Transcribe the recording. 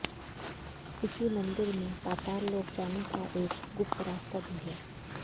इसी मंदिर में पाताल लोक जाने का एक गुप्त रास्ता भी है